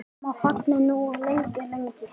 Amma þagði nú lengi, lengi.